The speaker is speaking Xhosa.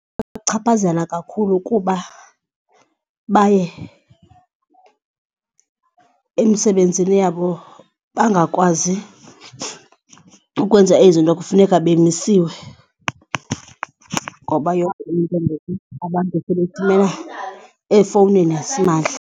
Ibachaphazela kakhulu kuba baye emisebenzini yabo bangakwazi ukwenza izinto kufuneka bemisiwe ngoba yonke into ngoku abantu efowunini yasimahla.